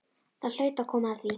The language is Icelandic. Það hlaut að koma að því